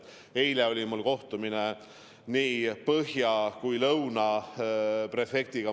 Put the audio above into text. Eile oli mul kohtumine nii Põhja kui Lõuna prefektuuri prefektiga.